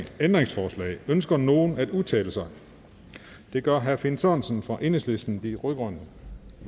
ændringsforslag ønsker nogen at udtale sig det gør herre finn sørensen fra enhedslisten de rød grønne